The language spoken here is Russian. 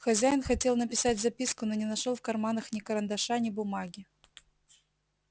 хозяин хотел написать записку но не нашёл в карманах ни карандаша ни бумаги